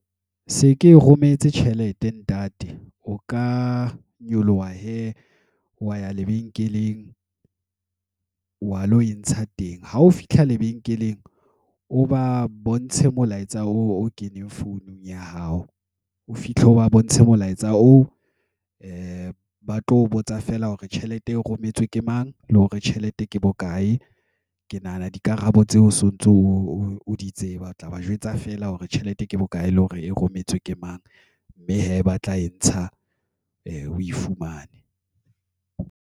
Se ke e rometse tjhelete ntate o ka nyoloha hee wa ya lebenkeleng wa lo entsha teng ha o fitlha lebenkeleng, o ba bontshe molaetsa o keneng founung ya hao, o fihle o ba bontshe molaetsa oo, a ba tlo botsa fela hore tjhelete e rometswe ke mang, le hore tjhelete ke bokae. Ke nahana dikarabo tseo so ntso o di tseba, o tla ba jwetsa feela hore tjhelete ke bokae, le hore e rometswe ke mang, mme hee ba tla e ntsha. A fumane ng